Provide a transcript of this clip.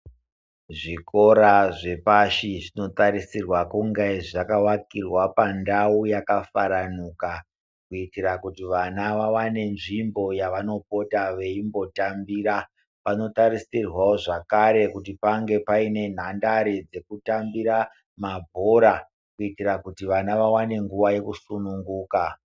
Zvikora zvepashi zvinotarisirwa kunge zvakavakirwa pandau yakafaranuka kuitira kuti vana vawane nzvimbo yavanopota veimbotambira panotarisirwawo zvakare kuti pange paine nhandare dzekutambira mabhora kuti vana vaite nguwa yekusununguka.